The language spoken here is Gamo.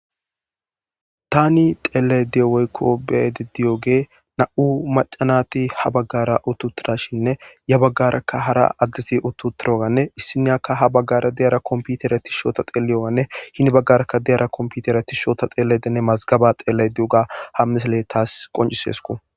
Tani xelayida woyikko beyida diyogeyi nam''u macanati haa bagara utti uttidashenne yaa bagaraka hara adet utti uttidogenne issiniyakka haa bagara diyira kompitiree tishshe otada xeliyonne hee bagaraka diuora komippitire tishshe otada xelayidda masigabba xelayidda diyogga haa missileyi tasi qonccisrsikko.